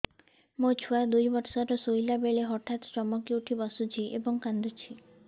ମୋ ଛୁଆ ଦୁଇ ବର୍ଷର ଶୋଇଲା ବେଳେ ହଠାତ୍ ଚମକି ଉଠି ବସୁଛି ଏବଂ କାଂଦୁଛି